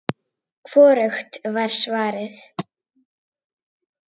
Hvorugt var svarið.